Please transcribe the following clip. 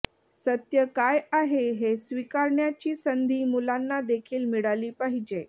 सत्य काय आहे हे स्वीकारण्याची संधी मुलांना देखील मिळाली पाहिजे